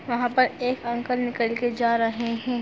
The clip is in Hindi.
वहाँ पर एक अंकल निकल के जा रहे हैं।